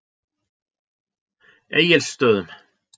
Egilsstöðum